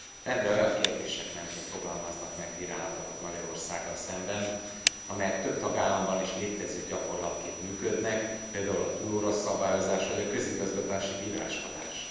Rendre olyan kérdések mentén fogalmaznak meg bírálatokat Magyarországgal szemben, amelyek több tagállamban is létező gyakorlatként működnek, például a túlóra szabályozás vagy a közigazgatási bíráskodás.